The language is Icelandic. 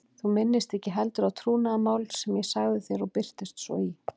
Þú minnist ekki heldur á trúnaðarmál sem ég sagði þér og birtist svo í